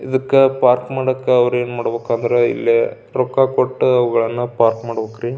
ಇದಕ್ಕ ಪಾರ್ಕ್ ಮಾಡಾಕ ಅವ್ರ ಏನ್ ಮಾಡಬೇಕು ಅಂದ್ರೆ ಇಲ್ಲೇ ರೊಕ್ಕ ಕೊಟ್ಟ ಅವುಗಳನ್ನ ಪಾರ್ಕ್ ಮಾಡಬೇಕರೀ.